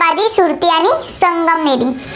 सुरती आणि संगमनेरी.